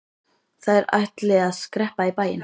Þær ætli að skreppa í bæinn.